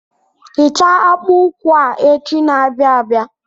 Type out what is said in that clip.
Hichaa akpa ụkwụ a echi na-abịa abịa.